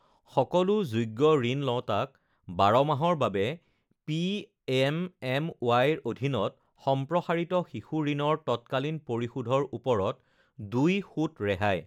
সকলো যোগ্য ঋণ লওঁতাক ১২ মাহৰ বাবে পিএমএমৱাইৰ অধীনত সম্প্ৰসাৰিত শিশু ঋণৰ তৎকালীন পৰিশোধৰ ওপৰত ২ সূত ৰেহাই